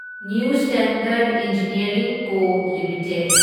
new Standard Engineering Co limited